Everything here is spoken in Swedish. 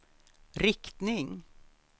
riktning